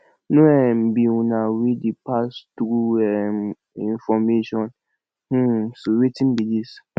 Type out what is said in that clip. no um be una wey dey pass true um information um so wetin be dis